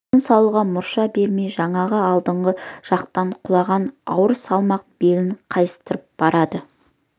тыныс алуға мұрша бермей жаңағы алдыңғы жақтан құлаған ауыр салмақ белін қайыстырып барады